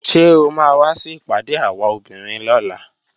Ṣé o máa wá sí ìpàdé àwa obìnrin lọ́la?